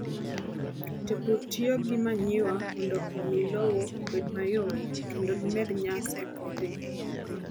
Jopur tiyo gi manyiwa mondo omi lowo obed mayom kendo gimed nyak e puothegi.